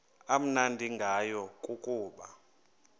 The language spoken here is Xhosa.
amnandi ngayo kukuba